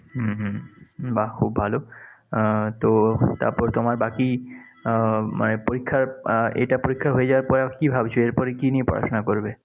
হম হম বাহ, খুব ভালো। আহ তো তোমার বাকি আহ মানে পরীক্ষা আহ এটা পরীক্ষা হয়ে যাওয়ার পর কি ভাবছ? এর পর কি নিয়ে পড়াশোনা করবে?